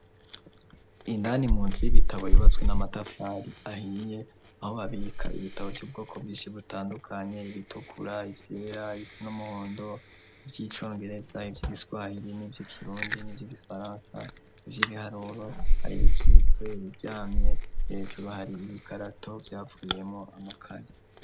Indani munzu y'ibitabo yubatswe n'amatafari ahiye aho babika ibitabo vyubwoko bwinshi butandukanye ibitukura iryera risa n'umuhondo vyicongereza ibyo giswahiri n'ibyo kirundi n'ivyi gifaransa ivy'ibiharuru aribikitse ibiryamye hejuru hari ibikarato vyavuyemo amakaye